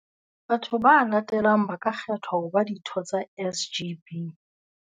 Batho ba latelang ba ka kgethwa ho ba ditho tsa SGB.